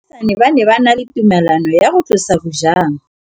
Baagisani ba ne ba na le tumalanô ya go tlosa bojang.